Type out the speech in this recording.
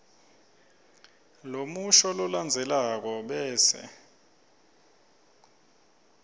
lomusho lolandzelako bese